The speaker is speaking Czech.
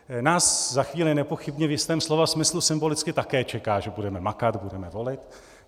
Nás za chvíli nepochybně v jistém slova smyslu symbolicky také čeká, že budeme makat, budeme volit.